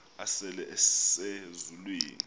asele ese zulwini